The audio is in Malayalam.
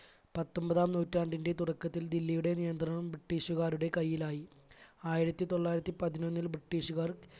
പത്തൊമ്പതാം നൂറ്റാണ്ടിന്റെ തുടക്കത്തിൽ ദില്ലിയുടെ നിയന്ത്രണം british കാരുടെ കയ്യിലായി. ആയിരത്തി തൊള്ളായിരത്തി പതിനൊന്നിൽ british കാർ